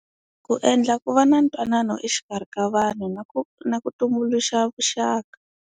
Ku endla ku va na ntwanano exikarhi ka vanhu na ku na ku tumbuluxa vuxaka.